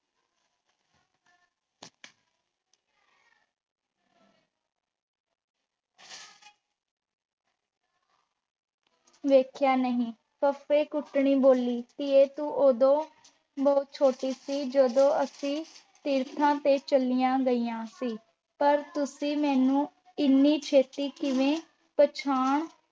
ਵੇਖਿਆ ਨਹੀਂ। ਫੱਫੇ-ਕੁੱਟਣੀ ਬੋਲੀ, ਧੀਏ, ਤੂੰ ਉਦੋਂ ਬਹੁਤ ਛੋਟੀ ਸੀ, ਜਦੋਂ ਅਸੀਂ ਤੀਰਥਾਂ ਤੇ ਚਲੀਆਂ ਗਈਆਂ ਸੀ। ਪਰ ਤੁਸੀਂ ਮੈਨੂੰ ਇਨੀ ਛੇਤੀ ਕਿਵੇਂ ਪਛਾਣ